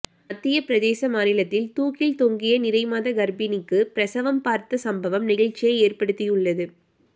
மத்திய பிரதேச மாநிலத்தில் தூக்கில் தொங்கிய நிறைமாத கர்ப்பிணிக்கு பிரசவம் பார்த்த சம்பவம் நெகிழ்ச்சியை ஏற்படுத்தியுள்ளது